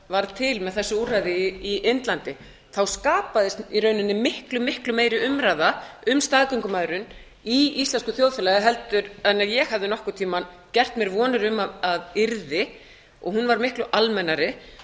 varð til með þessu úrræði á indlandi þá skapaðist í rauninni miklu meiri umræða um staðgöngumæðrun í íslensku þjóðfélagi en ef ég hefði nokkurn tímann gert mér vonir um að yrði og hún var miklu almennari